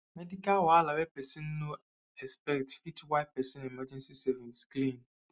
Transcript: medical wahala wey person no expect fit wipe person emergency savings clean